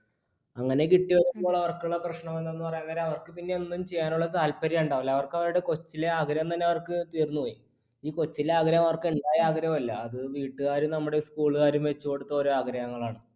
അങ്ങനെ കിട്ടിയപ്പോൾ അവർക്കുള്ള പ്രശ്‌നം എന്താന്ന് പറയാൻ നേരം അവർക്ക് പിന്നെയൊന്നും ചെയ്യാനുള്ള താല്പര്യം ഉണ്ടാവില്ല. അവർക്ക് അവരുടെ കൊച്ചിലെ ആഗ്രഹം തന്നെ അവർക്കു തീർന്നു പോയി. ഈ കൊച്ചിലെ ആഗ്രഹം അവർക്ക് ഉണ്ടായ ആഗ്രഹമല്ല. അത് വീട്ടുകാരും നമ്മടെ school കാരും വെച്ചുകൊടുത്ത ഒരു ആഗ്രഹങ്ങളാണ്.